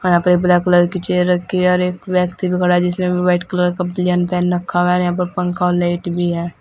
पर black colour की chair रखी है और एक व्यक्ति भी खड़ा है जिसने अभी व्हाइट कलर का बालियान पहन रखा हुआ है और यहां पर पंखा और लाइट भी है।